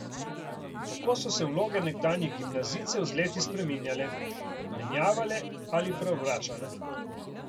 Tako so se vloge nekdanjih gimnazijcev z leti spreminjale, menjavale ali preobračale.